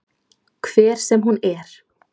Hver sem hún er.